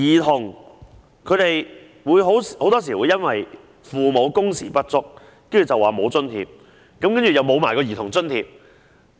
父母很多時因工時不足而不獲津貼，同時失去兒童津貼。